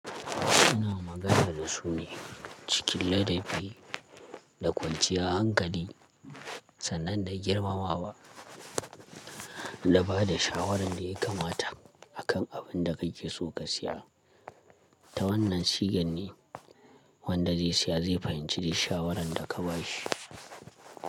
Ina magana da su ne cikin ladabi da kwanciyar hankali sannan da girmamawa da ba da shawaran da ya kamata a kan abin da kai ke so ka siya. Ta wannan shigan ne wanda zai siya zai fahimci dai shawaran da ka bashi.